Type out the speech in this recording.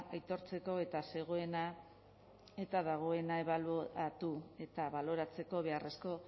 aitortzeko eta zegoena eta dagoena ebaluatu eta baloratzeko beharrezko